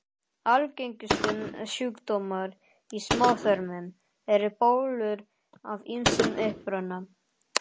Algengustu sjúkdómar í smáþörmum eru bólgur af ýmsum uppruna.